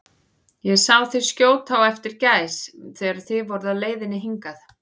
Ég sá þig skjóta á eftir gæs, þegar þið voruð á leiðinni hingað